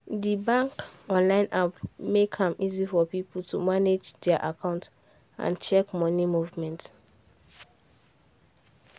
the bank online app make am easy for people to manage their account and check money movement.